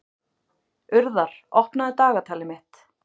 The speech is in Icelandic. Urðar, opnaðu dagatalið mitt.